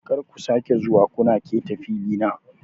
Kar ku sake zuwa kuna keta filina.